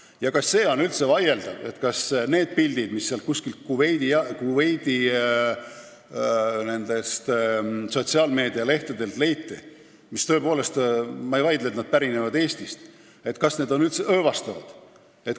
Ja ka see on üldse vaieldav, kas need pildid, mis sealt Kuveidi sotsiaalmeedia lehtedelt leiti – ma ei vaidle selle üle, kas need pärinevad Eestist –, on üldse õõvastavad.